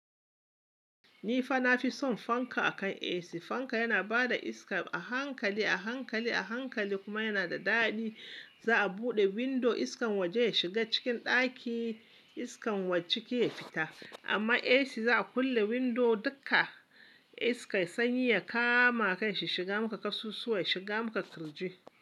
Ni fa na fi son fanka akan AC. Fanka yana ba da iska a hankali, a hankali, a hankali kuma yana da daɗi. Za a buɗe windo iskan waje ya shiga cikin ɗaki, iskan ciki ya fita. Amma AC za a kulle windo dukka iska sanyi ya kama kai, shi shiga maka kasusuwa, shiga maka kirji.